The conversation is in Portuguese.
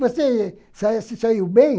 Você sa se saiu bem?